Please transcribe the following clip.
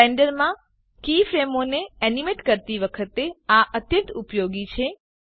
બ્લેન્ડરમાં કીફ્રેમોને એનીમેટ કરતી વખતે આ અત્યંત ઉપયોગી છે